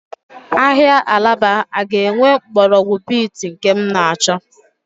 Ahịa Alaba a ga-enwe mgbọrọgwụ beet nke m na-achọ?